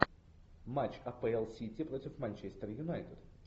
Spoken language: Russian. матч апл сити против манчестер юнайтед